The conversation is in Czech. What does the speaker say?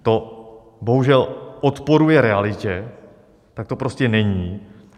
To bohužel odporuje realitě, tak to prostě není.